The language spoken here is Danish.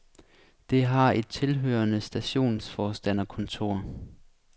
Det har et tilhørende stationsforstanderkontor.